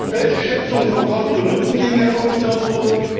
Welche Schätzungen von Kosten und Nutzen liegen der Kommission vor?